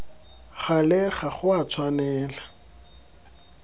gale ga go a tshwanela